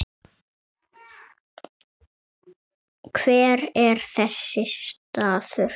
Hver er þessi staður?